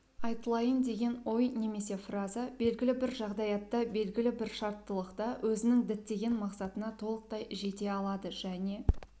айтылайын деген ой немесе фраза белгілі бір жағдаятта белгілі бір шарттылықта өзінің діттеген мақсатына толықтай жете алады және